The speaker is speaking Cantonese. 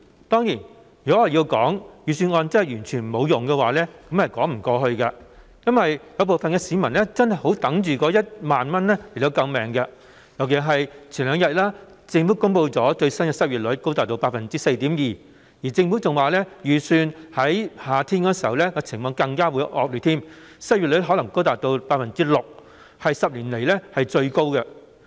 當然，如果說預算案完全沒有用，卻又說不過去，因為部分市民真的十分期待獲派發1萬元應急救命，尤其是數天前政府公布最新的失業率高達 4.2%， 更預期情況在夏天時會更為惡劣，失業率可能高達 6%， 是10年來最高。